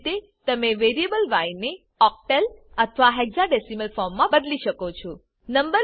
તેજ રીતે તમે variable y ને ઓક્ટલ અથવા હેક્સાડેસિમલ ફોર્મ મા બદલી શકો છો